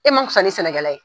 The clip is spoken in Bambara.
E ma fisa ni sɛnɛkɛla ye.